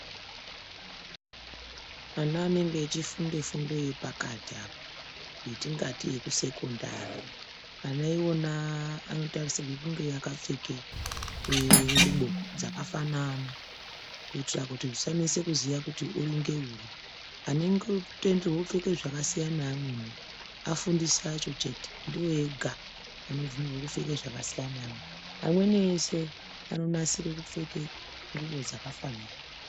Ana enenge achifunda fundo yepakati apa etingati ekusekondari ana iwona anotarisirwe kunge akapfeka nxubo dzakafanana kuitire kuti zvisanetsa kuziya kuti uri ngeuri , anotenderwe kupfeke zvakasiyana neamweni afundisi acho chete ndiwo ega anofanira kupfeka zvakasiyana neamwe ,amweni ese anonasira kupfeka zvakafanana.